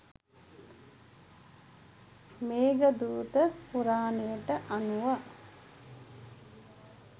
මේඝදූත පුරාණයට අනුව